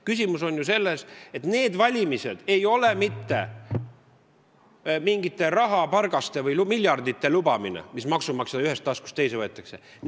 Küsimus on selles, et need valimised ei ole mitte mingite rahapargaste või miljardite lubamine, mis maksumaksja ühest taskust teise tõstetakse.